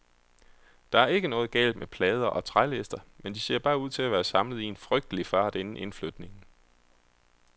Der er ikke noget galt med plader og trælister, men de ser bare ud til at være samlet i en frygtelig fart inden indflytningen.